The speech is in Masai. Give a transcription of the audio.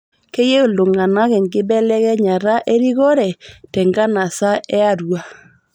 Keyieu ltung'ana enkibelekenyata e rikore te nkanasa e Arua